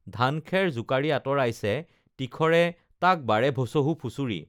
ধানখেৰ জোকাৰি আতঁৰাইছে তীখৰে তাক বাৰে ভচহু ফুচুৰি